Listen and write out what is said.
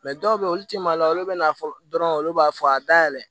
Mɛ dɔw bɛ yen olu tɛ maloya olu bɛ na fɔ dɔrɔn olu b'a fɔ a dayɛlɛ